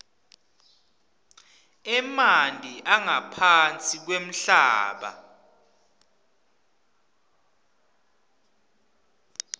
emanti angaphansi kwemhlaba